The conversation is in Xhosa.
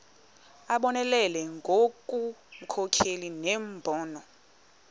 abonelele ngobunkokheli nembono